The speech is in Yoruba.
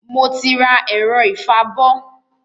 Mo ti rà ẹ̀rọ ìfabọ́